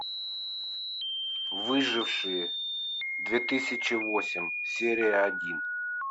выжившие две тысячи восемь серия один